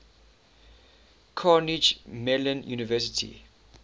carnegie mellon university